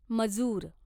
मजूर